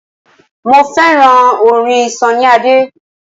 Mo fẹ́ràn orin Sunny Adé.